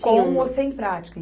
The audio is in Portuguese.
Com ou sem prática.